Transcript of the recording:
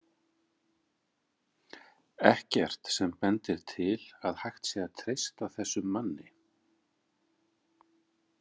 Ekkert sem bendir til að hægt sé að treysta þessum manni.